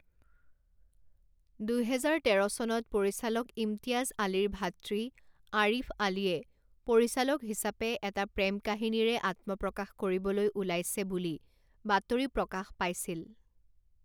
দুহেজাৰ তেৰ চনত পৰিচালক ইমতিয়াজ আলীৰ ভাতৃ আৰিফ আলীয়ে পৰিচালক হিচাপে এটা প্ৰেম কাহিনীৰে আত্মপ্ৰকাশ কৰিবলৈ ওলাইছে বুলি বাতৰি প্ৰকাশ পাইছিল।